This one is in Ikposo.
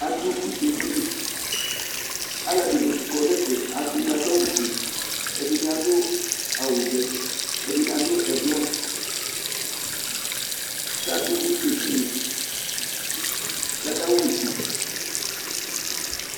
adʊ use dini, alʊɛdɩnɩ kɔ nʊ ɛfɛ ɛdɩnɩ adʊ awu fue, ɛdɩnɩ adʊ awu vɛ, ɛdɩ adʊ avavlitsɛ, kʊ adʊ use dɩnɩ yɛ, kʊ akaɣa use